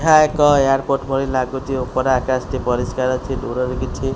ଏହା ଏକ ଏୟାରପୋର୍ଟ ଭଳି ଲାଗୁଛି ଉପର ଆକାଶ ଟି ପରିଷ୍କାର ଅଛି ଦୂରରୁ କିଛି --